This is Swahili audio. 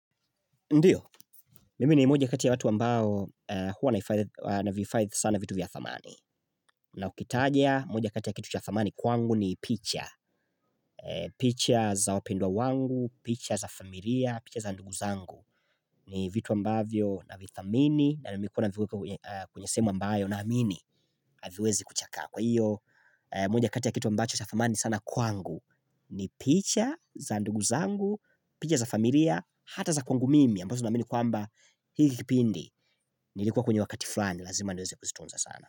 Ndio, mimi ni mmoja kati ya watu ambao huwa nahifadhi sana vitu vya thamani na ukitaja moja kati ya kitu cha thamani kwangu ni picha picha za wapendwa wangu, picha za familia, picha za ndugu zangu ni vitu ambavyo na vithamini na mimi kuna viweke kwenye sehemu ambayo na amini haviwezi kuchakaa kwa hiyo moja kati ya kitu ambacho cha thamani sana kwangu ni picha za ndugu zangu, picha za familia, hata za kwangu mimi ambazo naamini kwamba hili pindi Nilikuwa kwenye wakati flani Lazima niweze kuzitunza sana.